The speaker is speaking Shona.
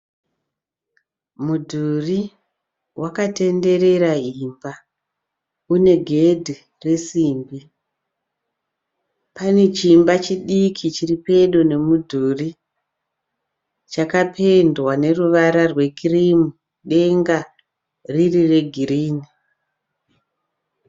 Mudhuri wakatenderera imba une gedhe resimbi. Pane chiimba chidiki chiri pedo nemudhuri chakapendwa neruvara rwekirimu denga riri regirinhi.